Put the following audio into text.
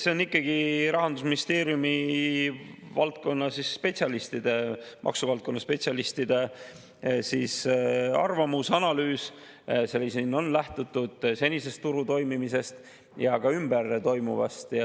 See on ikkagi Rahandusministeeriumi maksuvaldkonna spetsialistide arvamus ja analüüs, milles on lähtutud turu senisest toimimisest ja ka ümberringi toimuvast.